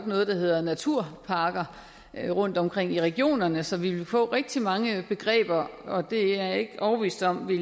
noget der hedder naturparker rundtomkring i regionerne så vi ville få rigtig mange begreber og det er jeg ikke overbevist om vil